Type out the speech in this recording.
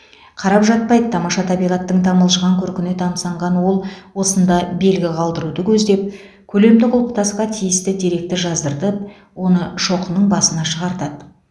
қарап жатпайды тамаша табиғаттың тамылжыған көркіне тамсанған ол осында белгі қалдыруды көздеп көлемді құлпытасқа тиісті деректі жаздыртып оны шоқының басына шығартады